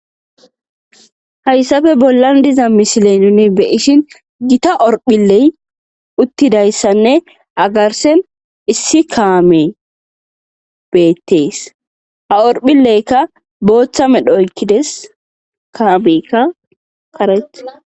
hayssafe bollan diza mishile nuni beyishin gita orphiley uttidayssanne agarsen issi kaame beettees ha orphilleykka booththa medhooykkides kaamekka karet